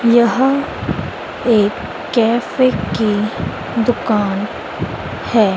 यह एक कैफे की दुकान है।